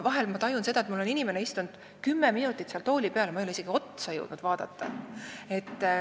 Vahel ma tajun, et mul on inimene juba kümme minutit tooli peal istunud, aga ma ei ole jõudnud isegi talle otsa vaadata.